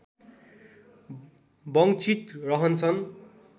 वञ्चित रहन्छन्